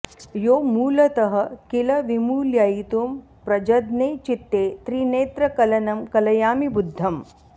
यो मूलतः किल विमूलयितुं प्रजज्ञे चित्ते त्रिनेत्रकलनं कलयामि बुद्धम्